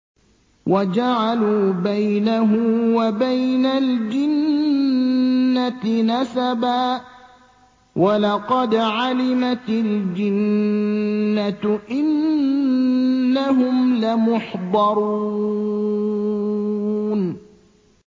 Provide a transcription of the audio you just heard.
وَجَعَلُوا بَيْنَهُ وَبَيْنَ الْجِنَّةِ نَسَبًا ۚ وَلَقَدْ عَلِمَتِ الْجِنَّةُ إِنَّهُمْ لَمُحْضَرُونَ